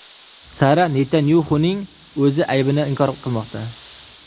Sara Netanyaxuning o‘zi aybini inkor qilmoqda.